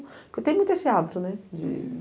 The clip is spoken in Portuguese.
Porque tem muito esse hábito, né? De